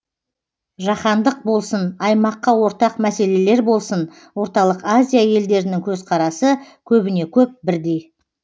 жаһандық болсын аймаққа ортақ мәселелер болсын орталық азия елдерінің көзқарасы көбіне көп бірдей